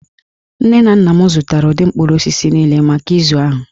Nne na nna m zụtara ụdị mkpụrụ osisi niile maka izu ahụ